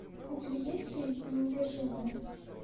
у тебя есть фильм неудержимые